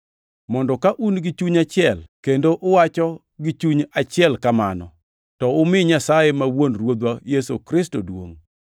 mondo ka un gi chuny achiel kendo uwacho gi chuny achiel kamano, to umi Nyasaye ma wuon Ruodhwa Yesu Kristo duongʼ.